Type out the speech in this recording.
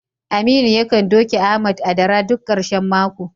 Aminu yakan doke Ahmad a dara duk karshen mako.